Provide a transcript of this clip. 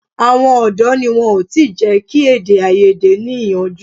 Àwọn ọ̀dọ́ ni wọn ò tí jẹ́ kí èdè-áiyedé ní ìyànjú.